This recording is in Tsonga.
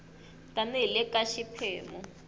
tani hi le ka xiphemu